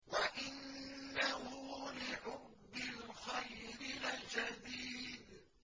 وَإِنَّهُ لِحُبِّ الْخَيْرِ لَشَدِيدٌ